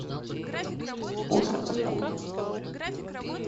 озаску